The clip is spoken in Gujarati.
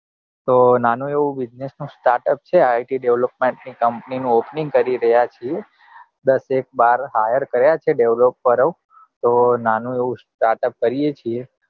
. તો નાનું એવું business નું startup છે it develop ની company નું opening કરી રહ્યા છીએ દસ એક બાર hire કર્યા છે developer ઓ તો નાનું એવું startup કરીએ છે